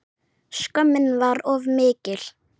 Skömmin var of mikil.